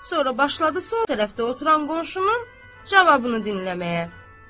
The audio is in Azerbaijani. Sonra başladı sol tərəfdə oturan qonşunun cavabını dinləməyə.